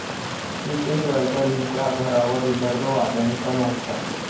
नितीन गडकरींच्या घरावर विदर्भवाद्यांचा मोर्चा